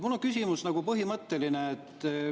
Mul on nagu põhimõtteline küsimus.